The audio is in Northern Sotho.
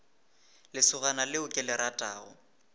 lesogana leo ke le ratago